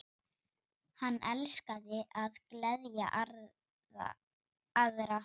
Hann elskaði að gleðja aðra.